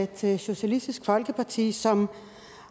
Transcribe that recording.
til socialistisk folkeparti som